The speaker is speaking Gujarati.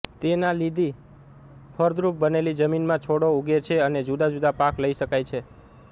તેના લીધી ફળદ્રુપ બનેલી જમીનમાં છોડો ઉગે છે અને જુદાજુદા પાક લઈ શકાય છે